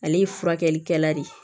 Ale ye furakɛlikɛla de ye